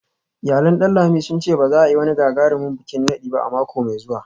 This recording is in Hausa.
Iyalan Danlami sun ce ba za a yi wani gagarumin bikin nadi ba a mako mai zuwa